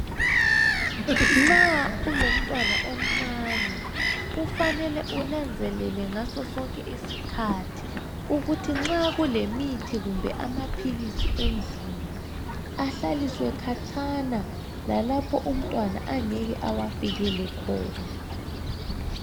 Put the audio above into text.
Nxa ulomntwana omncane kufanele unanzelele ngaso sonke isikhathi ukuthi nxa kulemithi kumbe amaphilisi endlini ahlaliswe khatshana lalapho umntwana angeke awafikele khona.